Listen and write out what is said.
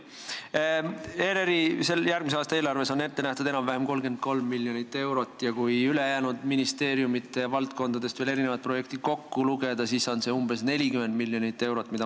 ERR-i järgmise aasta eelarves on ette nähtud enam-vähem 33 miljonit eurot ja kui ülejäänud ministeeriumide valdkondadest veel erinevad projektid kokku lugeda, siis teeb see umbes 40 miljonit eurot.